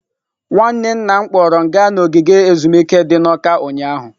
Nwanne nna m kpọọrọ m gaa ogige ezumike dị n'Awka ụnyahụ.